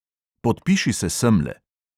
"Podpiši se semle."